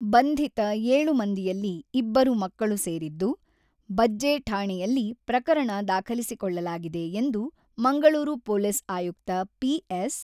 ಬಂಧಿತ ಏಳು ಮಂದಿಯಲ್ಲಿ ಇಬ್ಬರು ಮಕ್ಕಳು ಸೇರಿದ್ದು, ಬಜ್ಜೆ ಠಾಣೆಯಲ್ಲಿ ಪ್ರಕರಣ ದಾಖಲಿಸಿಕೊಳ್ಳಲಾಗಿದೆ ಎಂದು ಮಂಗಳೂರು ಪೊಲೀಸ್ ಆಯುಕ್ತ ಪಿ.ಎಸ್.